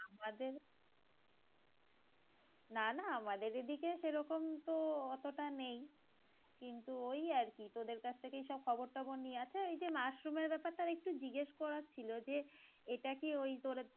আমাদের নানা আমাদের এদিকে সেরকম তো অতটা নেই কিন্তু ওই আর কি তোদের কাছ থেকেই সব খবর টবর নিয়ে আসে এইযে মাশরুমের বেপার টা একটু জিজ্ঞেস করার ছিলো যে এটা কি ওই তোদের